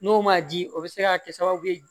N'o ma di o bɛ se ka kɛ sababu ye